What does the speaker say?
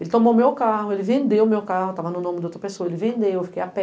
Ele tomou o meu carro, ele vendeu o meu carro, tava no nome de outra pessoa, ele vendeu, eu fiquei a pé.